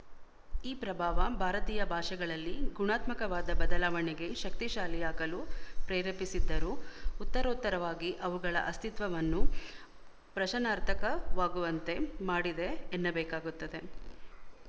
ಈ ಪ್ರಭಾವ ಭಾರತೀಯ ಭಾಷೆಗಳಲ್ಲಿ ಗುಣಾತ್ಮಕವಾದ ಬದಲಾವಣೆಗೆ ಶಕ್ತಿಶಾಲಿಯಾಗಲು ಪ್ರೆರೇಪಿಸಿದ್ದರೂ ಉತ್ತರೋತ್ತರವಾಗಿ ಅವುಗಳ ಅಸ್ತಿತ್ವವನ್ನು ಪ್ರಶನಾರ್ಥಕವಾಗುವಂತೆ ಮಾಡಿದೆ ಎನ್ನಬೇಕಾಗುತ್ತದೆ